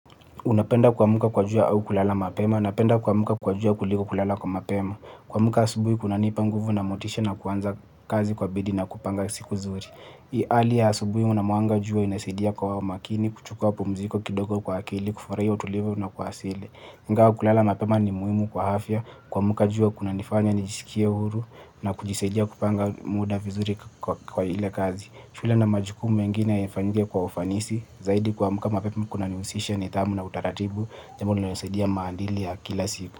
Unapenda kuamka kwa jua au kulala mapema? Napenda kuamka kwa jua kuliko kulala mapema. Kuamka asubuhi kunanipa nguvu na motisha ya kuanza kazi kwa bidii na kupanga siku vizuri. Hali ya asubuhi, mwanga wa jua unasaidia kwa makini kuchukua mapumziko kidogo kwa akili, kufurahia utulivu na kuwasili. Ingawa kulala mapema ni muhimu kwa afya. Kuamka jua kunanifanya nijisikie huru na kujisaidia kupanga muda vizuri kwa ile kazi. Shule na majukumu mengine yanafanyika kwa ufanisi zaidi kwa mkama pepe, mkuna niusisha ni tamu na utaratibu. Jamudu na nasaidia maandalizi kila siku.